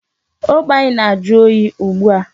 Ogbe anyị na-ajụ oyi ugbu a.